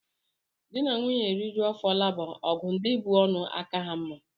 Dị na nwunye rijuo afọ luba ọgụ ndị bú ọnụ aka ha mma